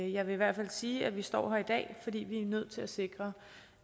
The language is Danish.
jeg vil i hvert fald sige at vi står her i dag fordi vi er nødt til at sikre